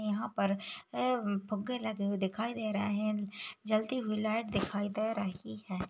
यहाँ पर ऐ फुग्गे लगे हुए दिखाई दे रहे है जलती हुई लाइट दिखाई दे रही है।